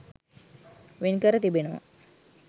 වෙන්කර තිබෙනවා.